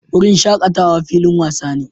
Wurin shakatawa filin wasa ne